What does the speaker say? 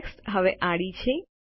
text હવે આડી છે